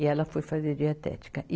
E ela foi fazer dietética. e